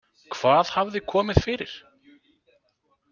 Hvað hafði komið fyrir?